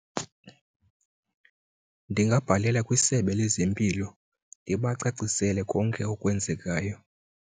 Ndingabhalela kwisebe lezempilo ndibacacisele konke okwenzekayo.